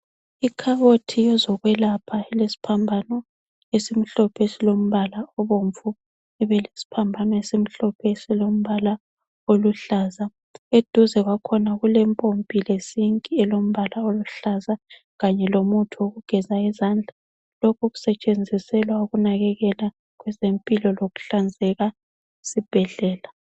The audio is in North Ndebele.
Ikhabothi yezokwelapha elesiphambano esimhlophe silombala obomvu, kubelesiphambano esimhlophe esilombala oluhlaza. Eduze kwakhona kulempompi lesinki elombala oluhlaza, kanye lomuthi wokugeza izandla. Lokho kusetshenziselwa ukunakekela kwezempilo lokuhlanzeka esibhedlela.